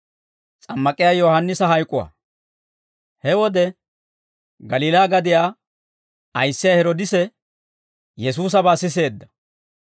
He wode Galiilaa gadiyaa ayissiyaa Heroodise Yesuusabaa siseedda;